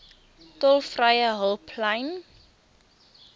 tolvrye hulplyn